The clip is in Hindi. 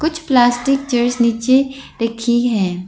कुछ पलास्टिक चेयर्स नीचे रखी है।